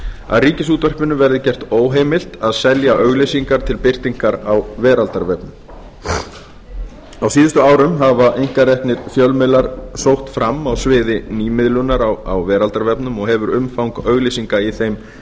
að ríkisútvarpinu verði gert óheimilt að selja auglýsingar til birtingar á veraldarvefnum á síðustu árum hafa einkareknir fjölmiðlar sótt fram á sviði nýmiðlunar á veraldarvefnum og hefur umfang auglýsinga í þeim